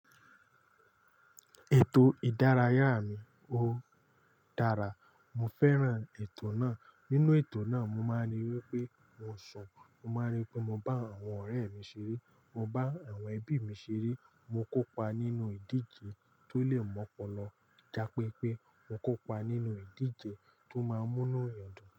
Ètò ìdárayá mi ó dára. Mo fẹ́ràn ètò náà. Nínú ètò náà mo máa ń rí pé mo ń sùn, mo máa ń rí pé mo bá àwọn ọ̀rẹ́ mi ṣeré, mo bá àwọn ẹbí mi ṣeré, mo kópa nínú ìdíje tó le mọ́'pọlọ, já pé pé mo kópa nínú ìdíje tó máa ń múnu yàn dùn.